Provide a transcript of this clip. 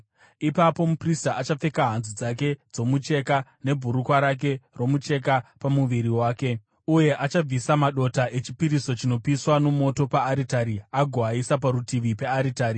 Ipapo muprista achapfeka hanzu dzake dzomucheka, nebhurukwa rake romucheka pamuviri wake, uye achabvisa madota echipiriso chinopiswa nomoto paaritari agoaisa parutivi pearitari.